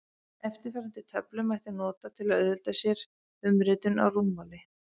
Eftirfarandi töflu mætti nota til að auðvelda sér umritun á rúmmáli.